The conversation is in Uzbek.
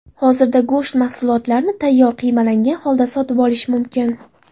Hozirda go‘sht mahsulotlarini tayyor qiymalangan holda sotib olish mumkin.